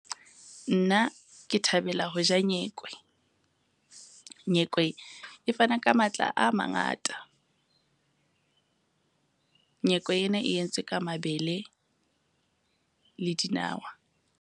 Nna ke thabela ho ja nyekwe. Nyekwe e fana ka matla a mangata. Nyekwe ena e entswe ka mabele le dinawa.